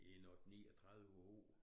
I en 8 39 år